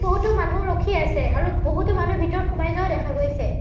বহুতো মানুহ ৰখি আছে আৰু বহুতো মানুহ ভিতৰত সোমাই যোৱাও দেখা গৈছে।